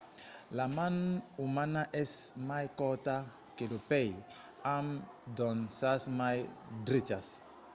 la man umana es mai corta que lo pè amb d'onças mai drechas